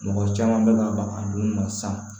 Mɔgɔ caman bɛ ka ban a don na san